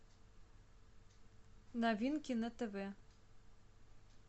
новинки на тв